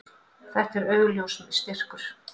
Þetta er augljós styrkur.